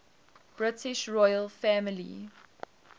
british royal family